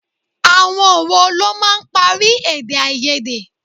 Àwọn wo ló máa ń parí èdè-áiyedé?